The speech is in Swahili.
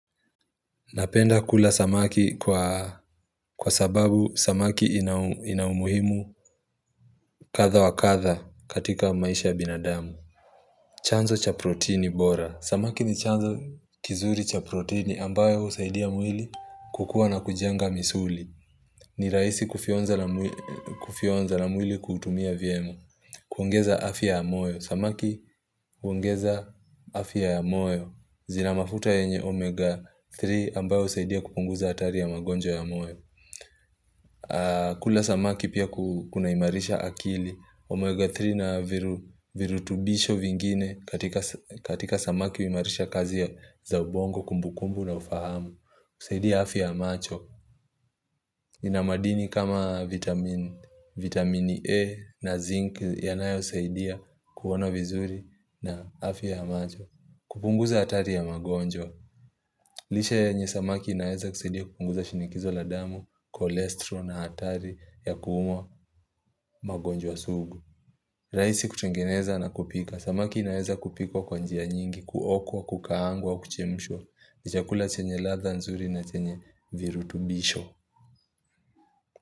Napenda kula samaki kwa sababu samaki ina umuhimu kadha wa kadha katika maisha ya binadamu. Chanzo cha protini bora. Samaki ni chanzo kizuri cha proteini ambayo husaidia mwili kukua na kujenga misuli. Ni rahisi kufyonza na mwili kuutumia vyema. Kuongeza afya ya moyo. Samaki huongeza afya ya moyo. Zina mafuta yenye omega 3 ambayo husaidia kupunguza hatari ya magonjwa ya moyo. Kula samaki pia kunaimarisha akili. Omega 3 na virutubisho vingine katika samaki huimarisha ya za kazi za ubongo kumbukumbu na ufahamu. Husaidia afya ya macho. Ina madini kama vitamini A na zinc yanayosaidia kuona vizuri na afya ya macho. Kupunguza hatari ya magonjwa lishe yenye samaki inaeza kusaidia kupunguza shinikizo la damu, cholesterol na hatari ya kuumwa magonjwa sugu rahisi kutungeneza na kupika Samaki inaeza kupikwa kwa njia nyingi, kuokwa, kukaangwa, kuchemshwa ni chakula chenye ladha nzuri na chenye virutubisho.